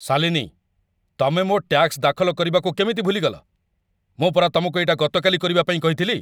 ଶାଲିନୀ, ତମେ ମୋ' ଟ୍ୟାକ୍ସ ଦାଖଲ କରିବାକୁ କେମିତି ଭୁଲିଗଲ? ମୁଁ ପରା ତମକୁ ଏଇଟା ଗତକାଲି କରିବା ପାଇଁ କହିଥିଲି!